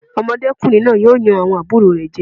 Ọmọdékùnrin náà yóò yan àwọn àbúrò rẹ̀ jẹ.